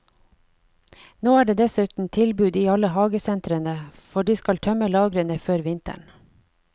Nå er det dessuten tilbud i alle hagesentrene, for de skal tømme lagrene før vinteren.